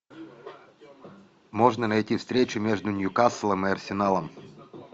можно найти встречу между ньюкаслом и арсеналом